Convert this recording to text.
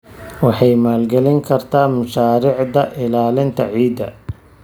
Waxay maalgelin kartaa mashaariicda ilaalinta ciidda.